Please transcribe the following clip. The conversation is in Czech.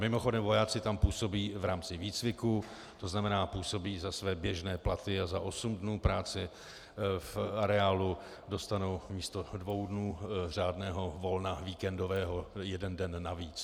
Mimochodem, vojáci tam působí v rámci výcviku, to znamená, působí za své běžné platy a za osm dnů práce v areálu dostanou místo dvou dnů řádného volna víkendového jeden den navíc.